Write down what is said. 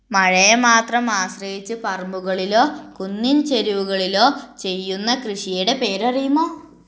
മഴയെ മാത്രം ആശ്രീയിച്ചു പറമ്പുകളിലോ കുന്നിൻ ചെല്ലുകളിലോ ചെയ്യുന്ന കൃഷിയുടെ പേര് അറിയുമോ